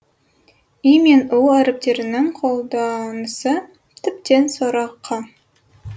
и мен у әріптерінің қолданысы тіптен сорақы